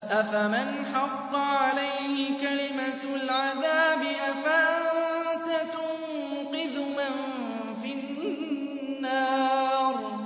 أَفَمَنْ حَقَّ عَلَيْهِ كَلِمَةُ الْعَذَابِ أَفَأَنتَ تُنقِذُ مَن فِي النَّارِ